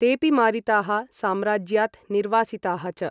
तेपि मारिताः साम्राज्यात् निर्वासिताः च।